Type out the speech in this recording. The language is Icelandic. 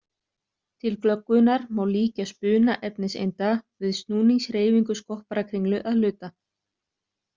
Til glöggvunar má líkja spuna efniseinda við snúningshreyfingu skopparakringlu að hluta.